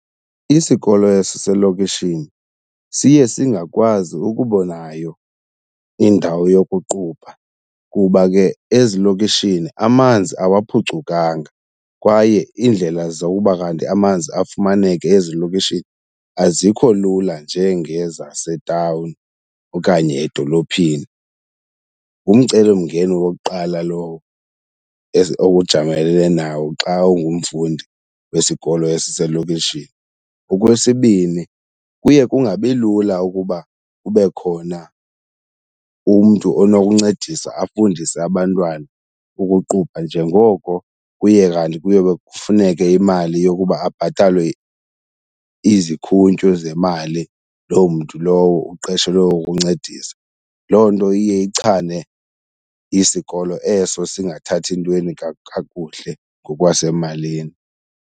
Isikolo esiselokishini siye singakwazi ukuba nayo indawo yokuqubha kuba ke ezilokishini amanzi awaphucukanga kwaye iindlela zowuba kanti amanzi afumaneke ezilokishini azikho lula njengezasetawuni okanye edolophini. Ngumcelimngeni wokuqala lowo owujamelene nawo xa ungumfundi wesikolo esiselokishini. Okwesibini kuye kungabilula ukuba kube khona umntu onokuncedisa afundise abantwana ukuqubha njengoko kuye kanti kuyobe kufuneke imali yokuba abhatalwe izikhuntyu zemali loo mntu lowo uqeshelwe ukuncedisa. Loo nto iye ichane isikolo eso singathathi ntweni kakuhle ngokwasemalini.